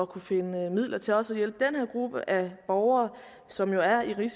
kunne finde midler til også at hjælpe den her gruppe af borgere som jo er i en